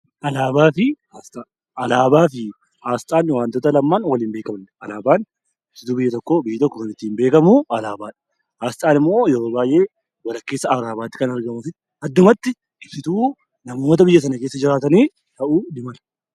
Alaabaa fi asxaa Alaabaa fi asxaan wantoota lamaan waliin beekamanii dha. Alaabaan ibsituu biyya tokkoo, biyyi tokko kan ittiin beekamu alaabaa dha. Asxaan immoo yeroo baay'ee walakkeessa alaabaatti kan argamuu fi addumatti ibsituu namoota biyya sana keessa jiraatanii ta'uu ni mala.